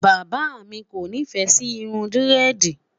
bàbá mí kò nifẹ Si Irun diredi